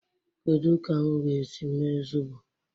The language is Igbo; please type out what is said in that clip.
Kedu ka m ga-esi mee zobo?